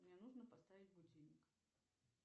мне нужно поставить будильник